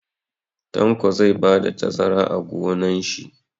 Tanko zai bada tazara a gonon shi